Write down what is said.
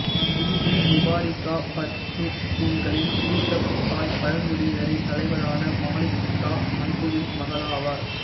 BP Mubarika பஷ்தூன்களின் யூசுப்சாய் பழங்குடியினரின் தலைவரான மாலிக் ஷா மன்சூரின் மகளாவார்